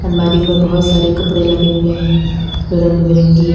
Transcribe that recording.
अलमारी में बहुत सारे कपड़े लगे हुए हैं जो रंग बिरंगी है।